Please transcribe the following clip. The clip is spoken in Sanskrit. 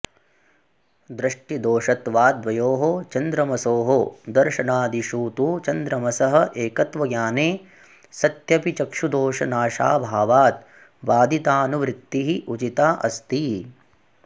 दृष्टिदोषत्वात् द्वयोः चन्द्रमसोः दर्शनादिषु तु चन्द्रमसः एकत्वज्ञाने सत्यपि चक्षुदोषनाशाभावात् बाधितानुवृत्तिः उचिता अस्ति